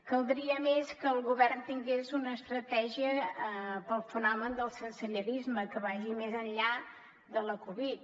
caldria a més que el govern tingués una estratègia per al fenomen del sensellarisme que vagi més enllà de la covid